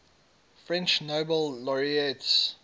french nobel laureates